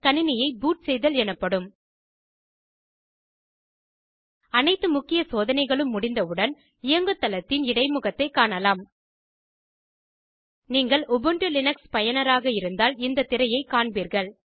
கணினியை பூட் செய்தல் எனப்படும் அனைத்து முக்கிய சோதனைகளும் முடிந்தவுடன் இயங்குதளத்தின் இடைமுகத்தைக் காணலாம் நீங்கள் உபுண்டு லினக்ஸ் பயனராக இருந்தால் இந்த திரையைக் காண்பீர்கள்